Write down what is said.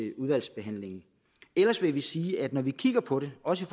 i udvalgsbehandlingen ellers vil vi sige at når vi kigger på det også